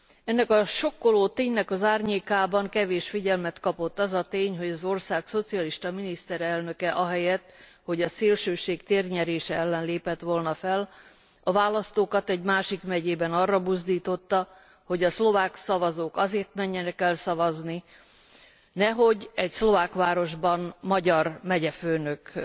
Ennek a sokkoló ténynek az árnyékában kevés figyelmet kapott az a tény, hogy az ország szocialista miniszterelnöke ahelyett, hogy a szélsőség térnyerése ellen lépett volna fel, a választókat egy másik megyében úgy buzdította, hogy a szlovák szavazók azért menjenek el szavazni, nehogy egy szlovák városban magyar megyefőnök